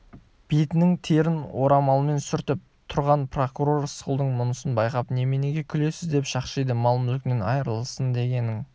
бетінің терін орамалмен сүртіп тұрған прокурор рысқұлдың мұнысын байқап неменеге күлесіз деп шақшиды мал-мүлкінен айырылсын дегенің